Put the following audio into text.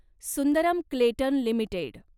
Sundaram Clayton limited